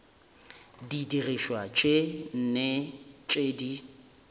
didirišwa tše nne tše di